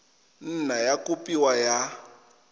nna ya kopiwa kwa go